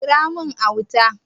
Kira mun Auta!